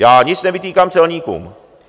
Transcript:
Já nic nevytýkám celníkům.